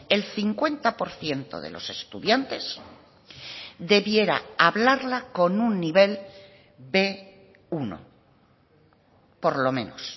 el cincuenta por ciento de los estudiantes debiera hablarla con un nivel be uno por lo menos